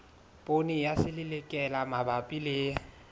poone ya selelekela mabapi le